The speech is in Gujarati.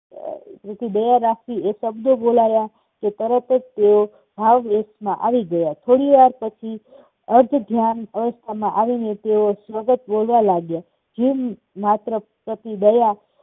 દયા રાખવી એ શબ્દો બોલાવા કે તરત જ તેઓ માં આવી ગયા. થોડી વાર પછી અર્ધભાન અવસ્થામાં આવીને સતત તેઓ બોલવા લાગ્યા. જીવ માત્ર પ્રત્યે દયા